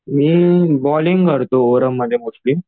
मी bowling करतो mostly